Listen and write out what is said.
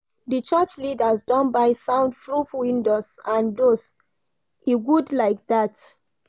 Di church leaders don buy sound proof windows and doors, e good like dat.